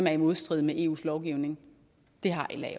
er i modstrid med eu lovgivningen det har la